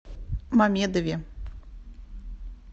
мамедове